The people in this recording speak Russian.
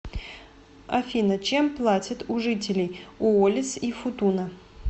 афина чем платят у жителей уоллис и футуна